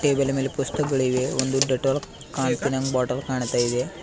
ಟೇಬಲಿನ ಮೇಲೆ ಪುಸ್ತಕಗಳು ಇವೆ ಒಂದು ಡೆಟಾಲ್ ಕಾಂತಿನ ಬಾಟಲ್ ಕಾಣ್ತಾ ಇದೆ.